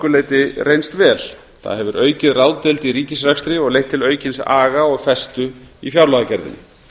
leyti reynst vel það hefur aukið ráðdeild í ríkisrekstri og leitt til aukins aga og festu í fjárlagagerðinni